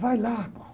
Vai lá, pô.